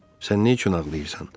sən neyçün ağlayırsan?